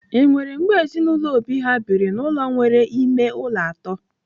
Enwere mgbe ezinụlọ Obi ha biri n'ụlọ nwere ime ụlọ atọ?